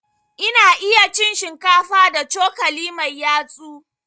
Ina iya cin shinkafa da cokali mai yatsu.